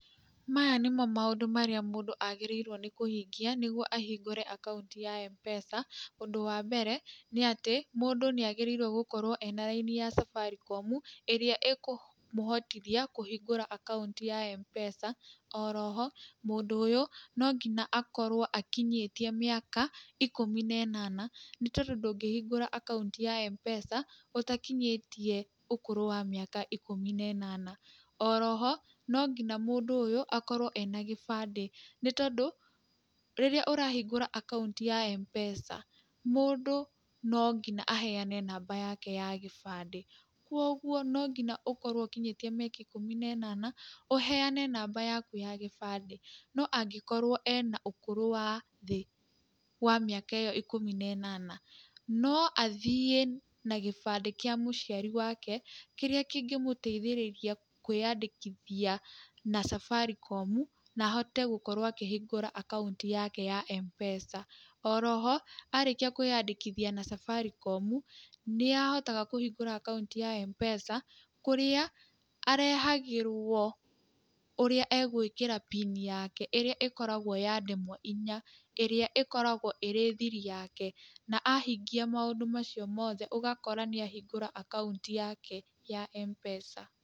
Maya nĩmo maũndũ marĩa mũndũ agĩrĩirũo nĩ kũhingia nĩguo ahingũre akaũnti ya Mpesa. Ũndũ Wa mbere nĩ atĩ mũndũ nĩ agĩrĩirũo gũkorwo ena raini ya Safaricom, ĩrĩa ĩkũmũhotithia kũhingũra akaũnti ya Mpesa, oroho mũndũ ũyũ no nginya akorwo akinyĩtie mĩaka ikũmi na ĩnana nĩ tondũ ndũngĩhingũra akaũnti ya Mpesa ũtakinyĩtie ũkũrũ wa mĩaka ikũmi na ĩnana. Oroho, no ngina mũndũ ũyũ akorwo ena gĩbandĩ, nĩ tondũ rĩrĩa ũrahingũra akaũnti ya Mpesa, mũndũ no ngina aheane namba yake ya gĩbandĩ, kuũguo no nginya ũkorwo ũkinyĩtie mĩaka ikũmi na ĩnana, ũheane namba yaku ya gĩbandĩ. No angĩkorwo ena ũkũrũ wa thĩ wa mĩaka ĩyo ikũmi na ĩnana, no athiĩ na gĩbandĩ kíĩ mũciari wake kĩrĩa kĩngĩmũteithĩrĩria kwĩyandĩkithia na Safaricom na ahote gũkorwo akhingũra akaũnti yake ya Mpesa. Oro ho arĩkia kåĩyandĩkithia na Safaricom, nĩ ahotaga kũhingũra akaũnti ya Mpesa kũrĩa arehagĩrwo ũrĩa egwĩkĩra pin yake ĩrĩa ĩkoragwo ya ndemwa inya, ĩrĩa ĩkoragwo ĩrĩ thiri yake. Na ahingia maũndũ macio mothe ũgakora nĩ ahingũra akaũnti yake ya Mpesa.